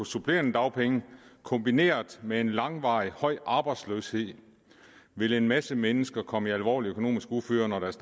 supplerende dagpenge kombineret med en langvarig høj arbejdsløshed vil en masse mennesker komme i alvorligt økonomisk uføre når deres